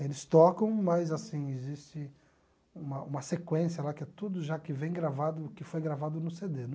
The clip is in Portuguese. Eles tocam, mas assim existe uma uma sequência lá que é tudo já que vem gravado que foi gravado no cê dê